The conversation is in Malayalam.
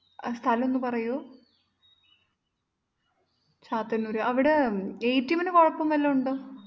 ആ സ്ഥലം ഒന്ന്പറയുമോ? ചാത്തന്നുര് അവിടെ atm നുകുഴപ്പം വല്ലോമുണ്ടോ?